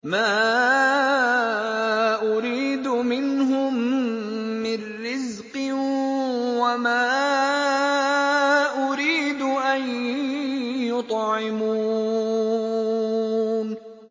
مَا أُرِيدُ مِنْهُم مِّن رِّزْقٍ وَمَا أُرِيدُ أَن يُطْعِمُونِ